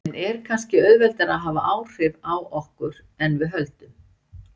En er kannski auðveldara að hafa áhrif á okkur en við höldum?